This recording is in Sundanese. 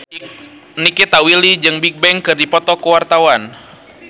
Nikita Willy jeung Bigbang keur dipoto ku wartawan